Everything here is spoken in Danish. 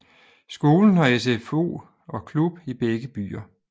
Skolen har SFO og klub i begge byer